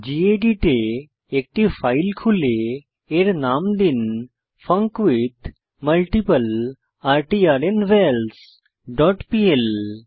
gedit এ একটি file খুলে এর নাম দিন ফাঙ্কুইথমাল্টিপ্লার্নভালস ডট পিএল